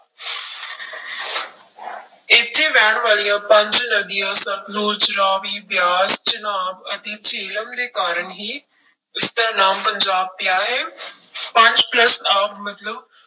ਇੱਥੇ ਵਹਿਣ ਵਾਲੀਆਂ ਪੰਜ ਨਦੀਆਂ ਸਤਲੁਜ, ਰਾਵੀ, ਬਿਆਸ, ਚਨਾਬ ਅਤੇ ਜਿਹਲਮ ਦੇ ਕਾਰਨ ਹੀ ਇਸਦਾ ਨਾਮ ਪੰਜਾਬ ਪਿਆ ਹੈ ਪੰਜ plus ਆਬ ਮਤਲਬ